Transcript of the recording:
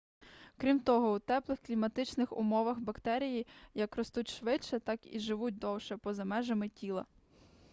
крім того у теплих кліматичних умовах бактерії як ростуть швидше так і живуть довше поза межами тіла